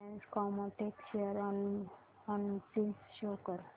Reliance Chemotex share analysis show कर